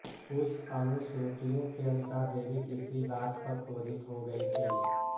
कुछ अनुश्रुतियों के अनुसार देवी किसी बात पर क्रोधित हो गयी थीं